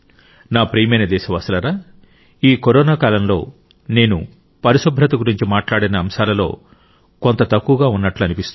నా ప్రియమైన దేశవాసులారా ఈ కరోనా కాలంలో నేను పరిశుభ్రత గురించి మాట్లాడాల్సిన అంశాలలో కొంత కొరత ఉన్నట్లు అనిపిస్తుంది